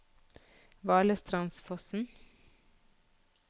Valestrandsfossen